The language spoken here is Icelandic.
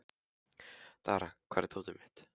Dara, hvar er dótið mitt?